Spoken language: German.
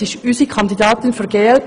Sie ist die Kandidatin der glp.